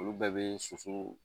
Olu bɛɛ bɛ soso